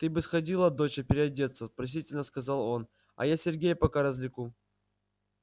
ты бы сходила доча переодеться просительно сказал он а я сергея пока развлеку